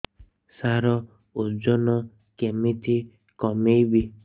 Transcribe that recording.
ସାର ଓଜନ କେମିତି କମେଇବି